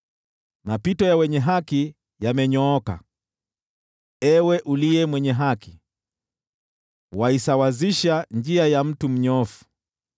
Mapito ya wenye haki yamenyooka. Ewe uliye Mwenye Haki, waisawazisha njia ya mtu mnyofu.